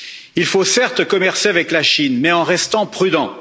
Il faut certes commercer avec la Chine, mais en restant prudent.